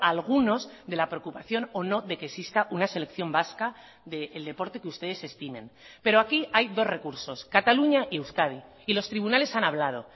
a algunos de la preocupación o no de que exista una selección vasca del deporte que ustedes estimen pero aquí hay dos recursos cataluña y euskadi y los tribunales han hablado